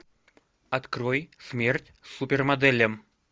открой смерть супермоделям